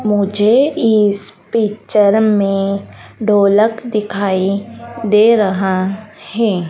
मुझे इस पिक्चर में ढोलक दिखाई दे रहा है।